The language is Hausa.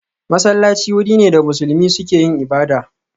Masallaci wuri ne da musulmi suke yin ibada